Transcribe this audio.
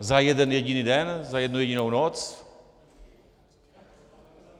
Za jeden jediný den, za jednu jedinou noc?